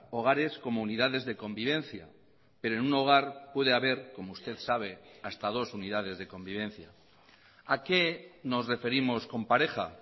hogares como unidades de convivencia pero en un hogar puede haber como usted sabe hasta dos unidades de convivencia a qué nos referimos con pareja